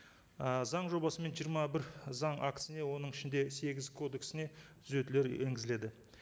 ы заң жобасымен жиырма бір заң актісіне оның ішінде сегіз кодексіне түзетулер енгізіледі